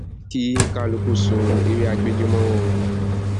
kí kálukú so ewé agbéjẹ mọwọ o